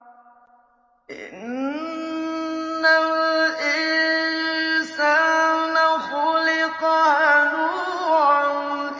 ۞ إِنَّ الْإِنسَانَ خُلِقَ هَلُوعًا